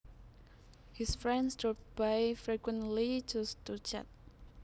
His friends dropped by frequently just to chat